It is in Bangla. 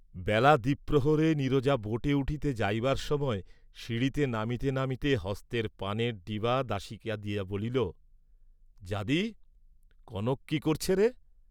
বেলা দ্বিপ্রহরে নীরজা বোটে উঠিতে যাইবার সময় সিঁড়িতে নামিতে নামিতে হস্তের পানের ডিবা দাসীকে দিয়া বলিল, যাদি, কনক, কি করছেরে?